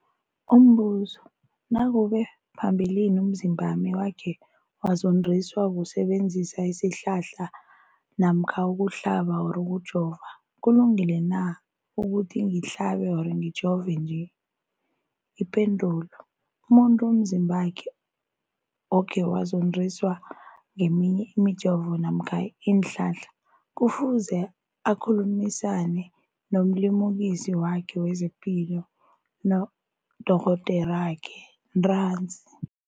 Umbuzo, nakube phambilini umzimbami wakhe wazondiswa kusebenzisa isihlahla namkha ukuhlaba, ukujova, kulungile na ukuthi ngihlabe, ngijove nje? Ipendulo, umuntu umzimbakhe okhe wazondiswa ngeminye imijovo namkha iinhlahla kufuze akhulumisane nomlimukisi wakhe wezepilo, nodorhoderakhe ntanzi.